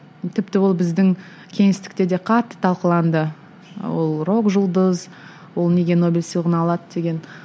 тіпті ол біздің кеңестікте де қатты талқыланды ол рок жұлдыз ол неге нобель сыйлығын алады деген